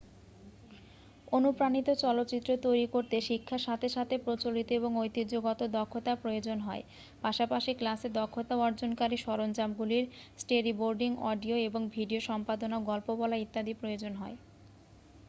অনুপ্রাণিত চলচ্চিত্র তৈরি করতে শিক্ষার সাথে সাথে প্রচলিত এবং ঐতিহ্যগত দক্ষতার প্রয়োজন হয় পাশাপাশি ক্লাসে দক্ষতা অর্জনকারী সরঞ্জামগুলির স্টোরিবোর্ডিং অডিও এবং ভিডিও সম্পাদনা গল্প বলা ইত্যাদি প্রয়োজন হয়